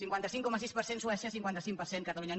cinquanta cinc coma sis per cent suècia cinquanta cinc per cent catalunya